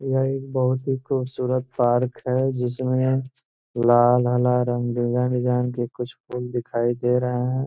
यह एक बहुत ही खूबसूरत पार्क है जिसमें लाल हरा रंग डिजाइन डिजाइन के कुछ फूल दिखाई दे रहे हैं।